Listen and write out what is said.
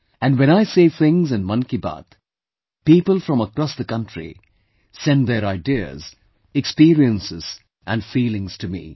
And when I say things in Mann Ki Baat, people from across the country send their ideas, experiences and feelings to me